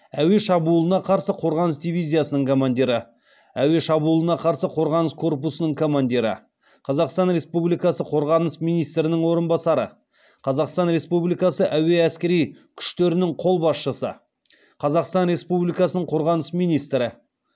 әуе шабуылына қарсы қорғаныс дивизиясының командирі әуе шабуылына қарсы қорғаныс корпусының командирі қазақстан республикасы қорғаныс министрінің орынбасары қазақстан республикасы әуе әскери күштерінің қолбасшысы қазақстан республикасының қорғаныс министрі